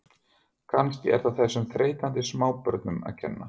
Kannski er það þessum þreytandi smábörnum að kenna.